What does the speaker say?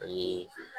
Ani